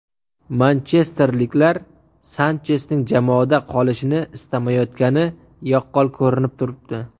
Manchesterliklar Sanchesning jamoada qolishini istamayotgani yaqqol ko‘rinib turibdi.